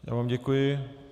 Já vám děkuji.